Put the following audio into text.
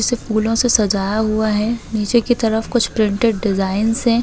इसे फूलों से सजाया हुआ है नीचे की तरफ कुछ प्रिंटेड डिजाइनस है।